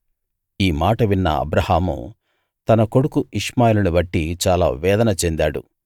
ఈ మాట విన్న అబ్రాహాము తన కొడుకు ఇష్మాయేలుని బట్టి చాలా వేదన చెందాడు